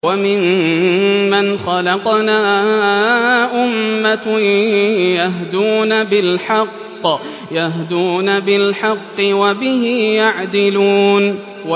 وَمِمَّنْ خَلَقْنَا أُمَّةٌ يَهْدُونَ بِالْحَقِّ وَبِهِ يَعْدِلُونَ